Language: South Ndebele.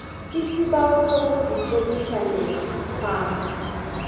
isibawo sokuzitlolisa nesikhwama